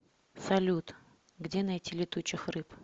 салют где найти летучих рыб